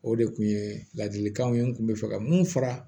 O de kun ye ladilikanw ye n kun bɛ fɛ ka mun fara